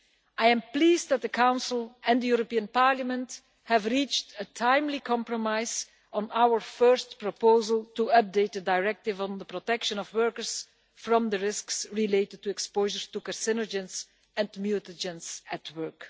I am pleased that the Council and the European Parliament have reached a timely compromise on our first proposal to update the Directive on the protection of workers from the risks related to exposure to carcinogens and mutagens at work.